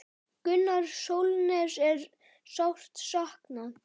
Gunnars Sólnes er sárt saknað.